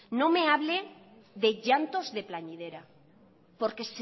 no me hable de llantos de porque